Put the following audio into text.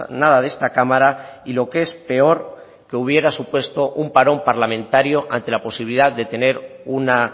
nada de esta cámara y lo que es peor que hubiera supuesto un parón parlamentario ante la posibilidad de tener una